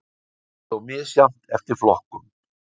Það er þó misjafnt eftir flokkum